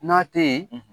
N'a tɛ ye